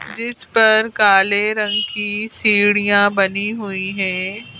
जिस पर काले रंग की सीढ़ियां बनी हुई हैं।